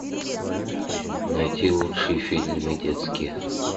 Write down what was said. найти лучшие фильмы детские